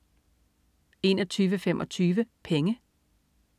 21.25 Penge